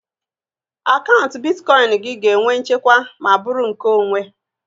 Akaụntụ bitkọin gị ga-enwe nchekwa ma bụrụ nke onwe